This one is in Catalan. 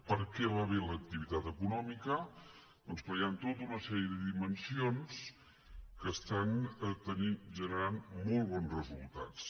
per què va bé l’activitat econòmica doncs perquè hi han tota una sèrie de dimensions que estan generant molt bons resultats